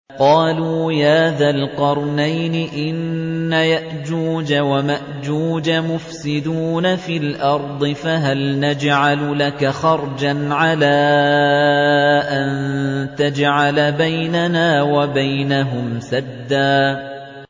قَالُوا يَا ذَا الْقَرْنَيْنِ إِنَّ يَأْجُوجَ وَمَأْجُوجَ مُفْسِدُونَ فِي الْأَرْضِ فَهَلْ نَجْعَلُ لَكَ خَرْجًا عَلَىٰ أَن تَجْعَلَ بَيْنَنَا وَبَيْنَهُمْ سَدًّا